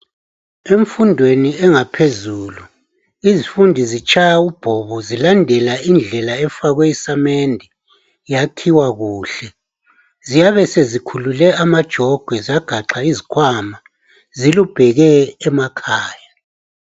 Emfundweni engaphezulu izifundi zitshaya ubhobo zilandela indlela efakwe isamende yakhiwa kuhle ziyabe sezikhulule amajogwe zagaxa izikhwama zilubheke emakhaya.